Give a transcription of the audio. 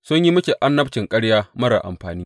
Sun yi miki annabcin ƙarya marar amfani.